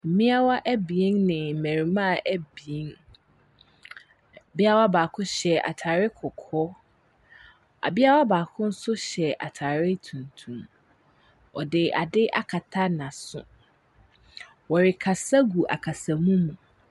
Mmeawa ne mmarimaa abien. Abeawa baako ataare kɔkɔɔ. Abeawa baako nso hyɛ ataare tuntum. Wɔde ade akata n'aso. Wɔrekasa agu akasamu mu.